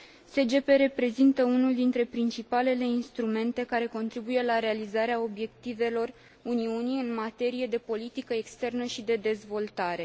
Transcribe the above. SGP reprezintă unul dintre principalele instrumente care contribuie la realizarea obiectivelor Uniunii în materie de politică externă și de dezvoltare.